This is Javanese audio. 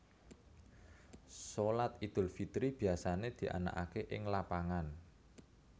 Shalat Idul Fitri biasané dianakaké ing lapangan